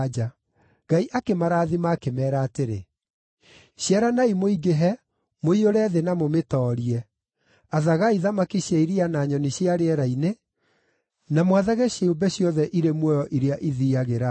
Ngai akĩmarathima, akĩmeera atĩrĩ, “Ciaranai mũingĩhe, mũiyũre thĩ na mũmĩtoorie. Athagai thamaki cia iria na nyoni cia rĩera-inĩ, na mwathage ciũmbe ciothe irĩ muoyo iria ithiiagĩra thĩ.”